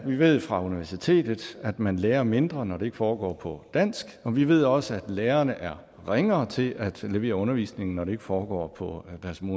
vi ved fra universitetet at man lærer mindre når det ikke foregår på dansk og vi ved også at lærerne er ringere til at levere undervisningen når det ikke foregår på